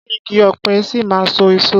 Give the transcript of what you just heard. Ṣé igi ọ̀pẹ ṣì máa so èso?